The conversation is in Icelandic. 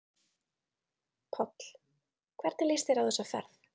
Páll: Hvernig líst þér á þessa ferð?